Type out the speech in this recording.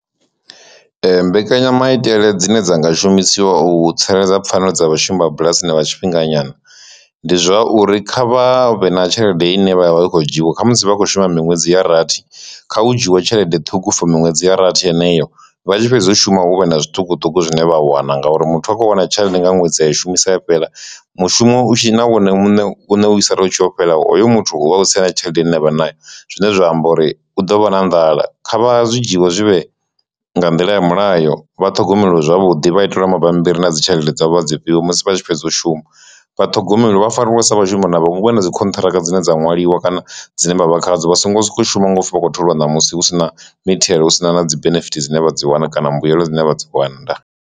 Ee, mbekanyamaitele dzine dzanga shumisiwa u tsireledza pfhanelo dza vhashumi bulasini vha tshifhinga nyana, ndi zwauri kha vhavhe na tshelede ine vha ya vha i khou dzhiiwa kha musi vha khou shuma miṅwedzi ya rathi kha u dzhiwe tshelede ṱhukhu for miṅwedzi ya rathi heneyo vha tshi fhedza u shuma huvhe na zwiṱukuṱuku zwine vha wana ngauri muthu a khou wana tshelede nga ṅwedzi i shumisa ya fhela mushumo u tshi na wone muṋe vhune usala utshi yo fhela hoyo muthu uvha a kho tsa na tshelede ine avha nayo, zwine zwa amba uri u ḓo vha na nḓala, kha vha zwi dzhiwa zwivhe nga nḓila ya mulayo vha ṱhogomelwe zwavhuḓi vha itelwa mabambiri na dzi tshelede dza vho vha dzi fhiwe musi vha tshi fhedza u shuma, vhathogomeli vha fariwe sa vhashumi na vha vhe na dzi khontraka dzine dza nwaliwa kana dzine vha vha khadzo. Vha songo so ko u shuma nga upfi vhakho tholiwa ṋamusi husina mithelo husina na dzi benefit dzine vha dzi wana kana mbuyelo dzine vha dzi wana ndaa.